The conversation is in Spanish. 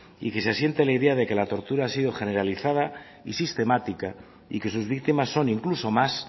y que se asiente la idea de que la tortura ha sido generalizada y sistemática y que sus víctimas son incluso más